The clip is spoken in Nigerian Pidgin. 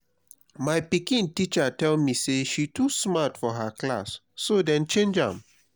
my pikin teacher tell me say she too smart for her class so dey change am